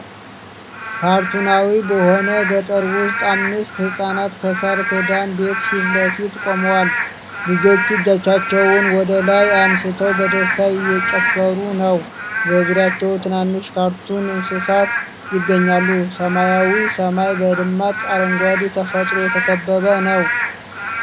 ካርቱናዊ በሆነው ገጠር ውስጥ አምስት ህፃናት ከሳር ክዳን ቤት ፊት ለፊት ቆመዋል። ልጆቹ እጆቻቸውን ወደ ላይ አንስተው በደስታ እየጨፈሩ ነው። በዙሪያቸው ትናንሽ ካርቱን እንስሳት ይገኛሉ። ሰማያዊው ሰማይ በደማቅ አረንጓዴ ተፈጥሮ የተከበበ ነው።